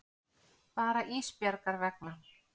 Bara Ísbjargar vegna.